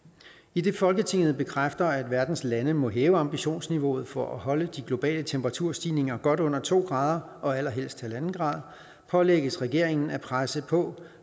idet folketinget bekræfter at verdens lande må hæve ambitionsniveauet for at holde de globale temperaturstigninger godt under to grader og allerhelst en grader pålægges regeringen at presse på